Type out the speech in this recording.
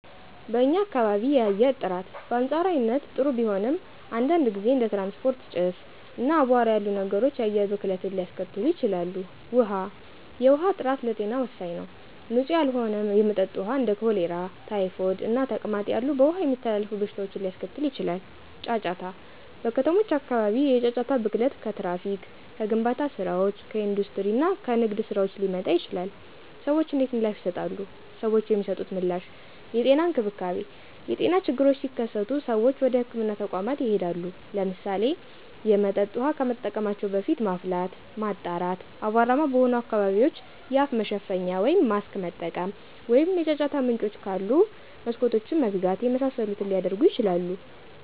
*በኛ ካባቢ የአየር ጥራት: በአንፃራዊነት ጥሩ ቢሆንም፣ አንዳንድ ጊዜ እንደ ትራንስፖርት ጭስ፣ እና አቧራ ያሉ ነገሮች የአየር ብክለትን ሊያስከትሉ ይችላሉ። ውሀ፦ የውሃ ጥራት ለጤና ወሳኝ ነው። ንፁህ ያልሆነ የመጠጥ ውሃ እንደ ኮሌራ፣ ታይፎይድ እና ተቅማጥ ያሉ በውሃ የሚተላለፉ በሽታዎችን ሊያስከትል ይችላል። * ጫጫታ: በከተሞች አካባቢ የጫጫታ ብክለት ከትራፊክ፣ ከግንባታ ስራዎች፣ ከኢንዱስትሪ እና ከንግድ ስራዎች ሊመጣ ይችላል። ሰዎች እንዴት ምላሽ ይሰጣሉ? ሰዎች የሚሰጡት ምላሽ * የጤና እንክብካቤ : የጤና ችግሮች ሲከሰቱ ሰዎች ወደ ህክምና ተቋማት ይሄዳሉ። *ለምሳሌ፣ የመጠጥ ውሃ ከመጠቀማቸው በፊት ማፍላት፣ ማጣራት፣ አቧራማ በሆኑ አካባቢዎች የአፍ መሸፈኛ (ማስክ) መጠቀም፣ ወይም የጫጫታ ምንጮች ካሉ መስኮቶችን መዝጋት የመሳሰሉትን ሊያደርጉ ይችላሉ።